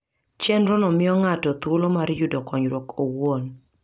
Chenrono miyo ng'ato thuolo mar yudo konyruok owuon.